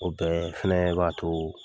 O tɛ filɛ b'a to